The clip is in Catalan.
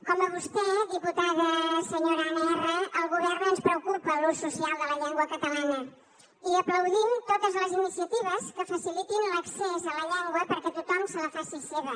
com a vostè diputada senyora anna erra al govern ens preocupa l’ús social de la llengua catalana i aplaudim totes les iniciatives que facilitin l’accés a la llengua perquè tothom se la faci seva